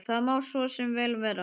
Það má svo sem vel vera.